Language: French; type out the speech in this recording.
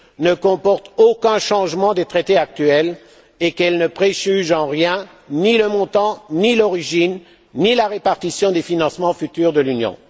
ne comportent aucune modification des traités actuels et qu'elles ne préjugent en rien ni le montant, ni l'origine, ni la répartition des financements futurs de l'Union.